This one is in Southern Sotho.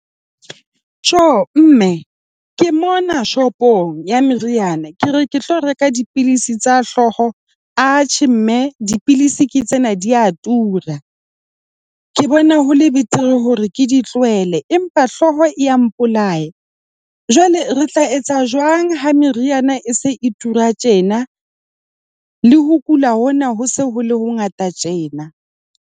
Tjo, mme. Ke mona shopong ya meriana, ke re ke tlo reka dipidisi tsa hlooho. Atjhe, mme. Dipidisi ke tsena di a tura. Ke bona ho le betere hore ke di tlohele, empa hlooho ya mpolaya. Jwale re tla etsa jwang ha meriana e se e tura tjena le ho kula hona ho se ho le ho ngata tjena?